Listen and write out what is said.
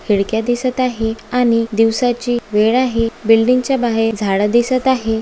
खिडक्या दिसत आहे आणि दिवसाची वेळ आहे बिल्डिंग च्या बाहेर झाडं दिसत आहे.